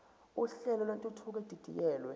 uhlelo lwentuthuko edidiyelwe